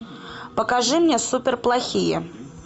покажи мне суперплохие